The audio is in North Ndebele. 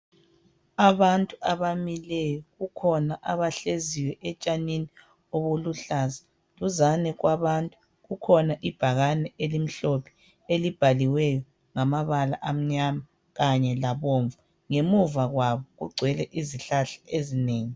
Abantu abamileyo kukhona abahleziyo etshanini obuluhlaza. Duzane kwabantu kukhona ibhakane elimhlophe elibhaliweyo ngamabala amnyama kanye labomvu .Ngemuva kwabo kugcwele izihlahla ezinengi.